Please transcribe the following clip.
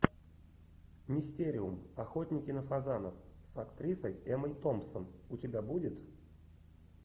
мистериум охотники на фазанов с актрисой эммой томпсон у тебя будет